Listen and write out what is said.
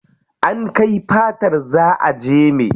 An kai fatar za a jeme.